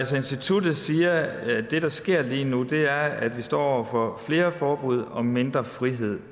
så instituttet siger at det der sker lige nu er at vi står over for flere forbud og mindre frihed